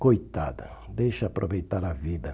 Coitada, deixa aproveitar a vida.